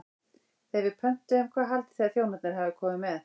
Þegar við pöntuðum, hvað haldið þið að þjónarnir hafi komið með?